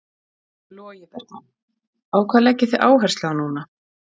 Logi Bergmann: Á hvað leggið þið áherslu á núna?